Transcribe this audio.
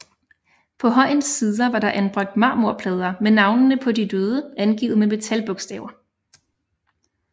På højens sider var der anbragt marmorplader med navnene på de døde angivet med metalbogstaver